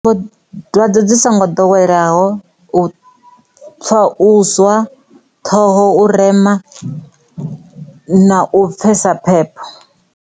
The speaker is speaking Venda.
Dwadze dzi songo doweleyaho tsha vhuswa ṱhoho rema na u pfhesesa phepho.